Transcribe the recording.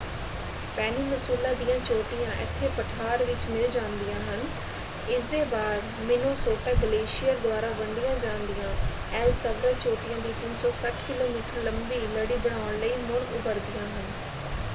Peninsula ਦੀਆਂ ਚੋਟੀਆਂ ਇੱਥੇ ਪਠਾਰ ਵਿੱਚ ਮਿਲ ਜਾਂਦੀਆਂ ਹਨ ਇਸਦੇ ਬਾਅਦ ਮਿਨੇਸੋਟਾ ਗਲੇਸ਼ੀਅਰ ਦੁਆਰਾ ਵੰਡੀਆਂ ਜਾਂਦੀਆਂ ਐਲਸਵਰਥ ਚੋਟੀਆਂ ਦੀ 360 ਕਿਲੋਮੀਟਰ ਲੰਬੀ ਲੜੀ ਬਣਾਉਣ ਲਈ ਮੁੜ ਉੱਭਰਦੀਆਂ ਹਨ।